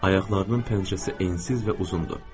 Ayaqlarının pəncəsi ensiz və uzundur.